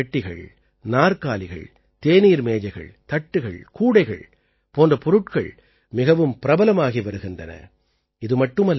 மூங்கிலால் ஆன பெட்டிகள் நாற்காலிகள் தேநீர் மேஜைகள் தட்டுகள் கூடைகள் போன்ற பொருட்கள் மிகவும் பிரபலமாகி வருகின்றன